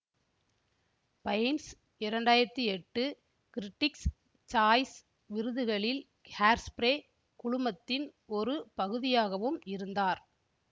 pines இரண்டாயிரத்தி எட்டு critics choice விருதுகளில் ஹேர்ஸ்பிரே குழுமத்தின் ஒரு பகுதியாகவும் இருந்தார்